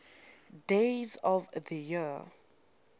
days of the year